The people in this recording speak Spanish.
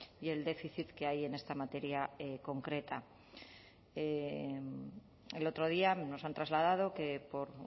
y el déficit que hay en esta materia concreta el otro día nos han trasladado que por